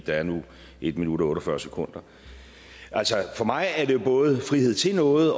der er nu en minut og otte og fyrre sekunder for mig er det jo både frihed til noget